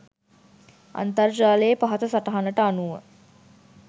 අන්තර්ජාලයේ පහත සටහනට අනුව